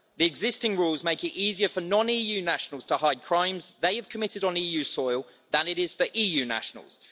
The existing rules make it easier for non EU nationals to hide crimes they have committed on EU soil than it is for EU nationals.